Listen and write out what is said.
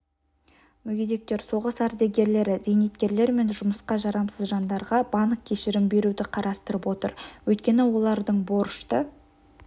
мүгедектер соғыс ардагерлері зейнеткерлер мен жұмысқа жарамсыз жандарға банк кешірім беруді қарастырып отыр өйткені олардың борышты